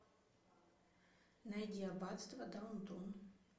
найди аббатство даунтон